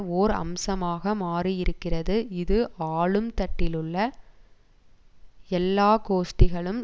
ஓர் அம்சமாக மாறியிருக்கிறது இது ஆளும் தட்டிலுள்ள எல்லா கோஷ்டிகளும்